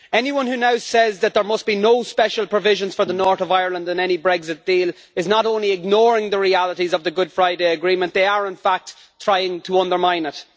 Anyone who now says that there must be no special provisions for the North of Ireland in any Brexit deal is not only ignoring the realities of the Good Friday Agreement, but is in fact trying to undermine it.